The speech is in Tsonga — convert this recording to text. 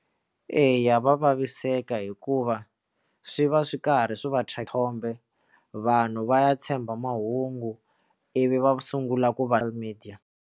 Eya, va vaviseka hikuva swi va swi karhi swi vathole vanhu va ya tshemba mahungu ivi va sungula ku vale media.